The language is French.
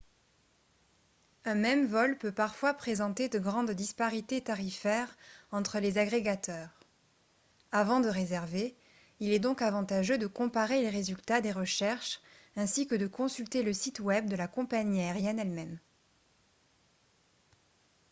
un même vol peut parfois présenter de grandes disparités tarifaires entre les agrégateurs avant de réserver il est donc avantageux de comparer les résultats des recherches ainsi que de consulter le site web de la compagnie aérienne elle-même